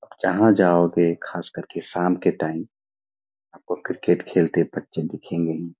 जहां जाओगे खासकर के साम के टाइम आपको क्रिकेट खेलते बच्‍चे दिखेगे ही।